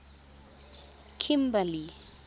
kimberley